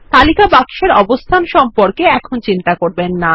তালিকা বাক্সের অবস্থান সম্পর্কে এখন চিন্তা করবেন না